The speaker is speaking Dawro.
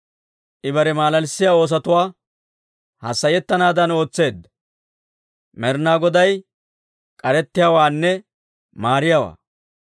I bare malalissiyaa oosotuu, hassayettanaadan ootseedda. Med'inaa Goday k'arettiyaawaanne maariyaawaa.